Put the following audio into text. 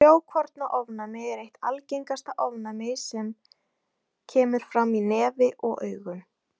Frjókornaofnæmi er eitt algengasta ofnæmið sem kemur fram í nefi og augum.